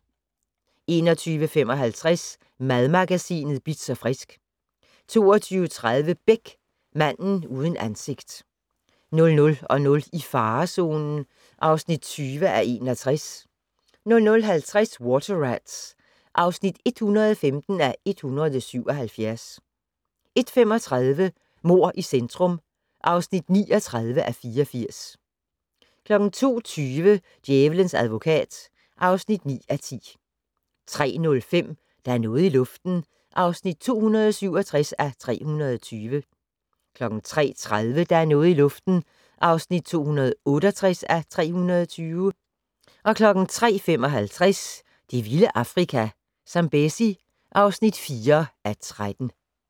21:55: Madmagasinet Bitz & Frisk 22:30: Beck: Manden uden ansigt 00:00: I farezonen (20:61) 00:50: Water Rats (115:177) 01:35: Mord i centrum (39:84) 02:20: Djævelens advokat (9:10) 03:05: Der er noget i luften (267:320) 03:30: Der er noget i luften (268:320) 03:55: Det vilde Afrika - Zambezi (4:13)